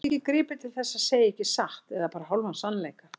Margir gripu til þess að segja ekki satt eða bara hálfan sannleika.